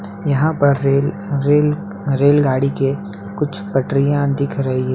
यहां पर rail rail रेलगाड़ी के कुछ पटरियां दिख रही --